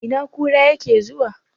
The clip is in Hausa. Ina kura yake zuwa?